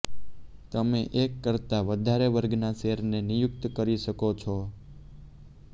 તમે એક કરતા વધારે વર્ગના શેરને નિયુક્ત કરી શકો છો